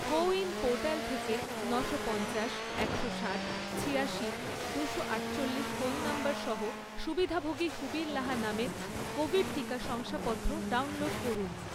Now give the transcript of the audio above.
কো win portal থেকে নশো পঞ্চাশ, একশো সাত, ছিয়াশি, দুশো আটচল্লিশ ফোন নম্বর সহ সুবিধাভোগী সুবীর লাহা নামের কোভিড টিকা শংসাপত্র ডাউনলোড করুন